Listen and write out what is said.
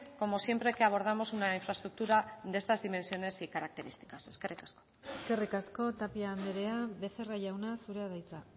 como siempre que abordamos una infraestructura de estas dimensiones y características eskerrik asko eskerrik asko tapia andrea becerra jauna zurea da hitza